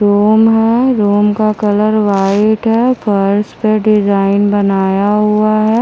Room है room का colour white है फर्श पे डिजाइन बनाया हुआ है।